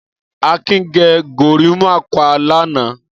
Akin gẹ gorímápá lánàá.